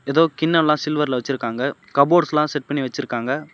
ஏதோ கிண்ண எல்லா சில்வர்ல வெச்சிருக்காங்க கபோர்ட்ஸ்லா செட் பண்ணி வெச்சிருக்காங்க.